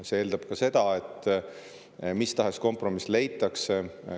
See eeldab ka seda, et leitakse mis tahes kompromiss.